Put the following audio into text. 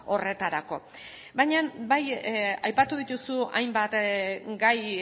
horretarako baina bai aipatu dituzu hainbat gai